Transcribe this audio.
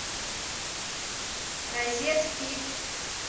розет кит